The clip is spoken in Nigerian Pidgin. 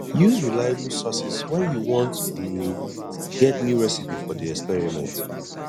use reliable sources when you wan um get new recipe for di experiment